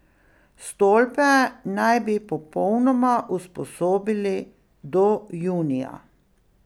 Stolpe naj bi popolnoma usposobili do junija.